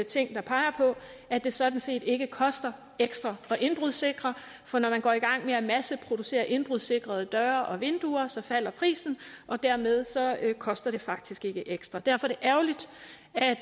ting der peger på at det sådan set ikke koster ekstra at indbrudssikre for når man går i gang med at masseproducere indbrudssikrede døre og vinduer så falder prisen og dermed koster det faktisk ikke ekstra derfor er